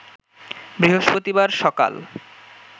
বৃহস্পতিবার সকাল